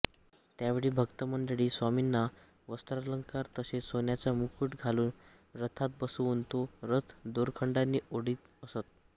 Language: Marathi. त्यावेळी भक्तमंडळी स्वामींना वस्त्रालंकार तसेच सोन्याचा मुकुट घालून रथात बसवून तो रथ दोरखंडांनी ओढीत असत